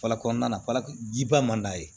Fara kɔnɔna na fara jiba man d'a ye